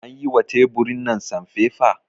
An yi wa teburin nan sanfefa?